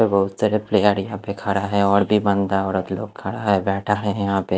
बहुत सारे प्लेयर यहां पे खड़ा है और भी बंदा औरत लोग खड़ा है बैठा है यहां पे --